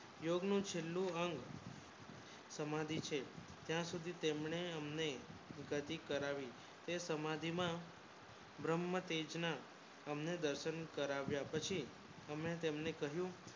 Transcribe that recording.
યોગ નુંછેલ્લું અંગ સમાધિ છે ત્યાં સુધી તમને અમને સમાધિ કરાવી તે સમાધિ માં બ્રહ્મ તેજ ના હમને દર્શન કરાવ્યા પછી હમે તમને કહ્યું